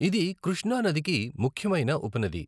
ఇది కృష్ణా నదికి ముఖ్యమైన ఉపనది.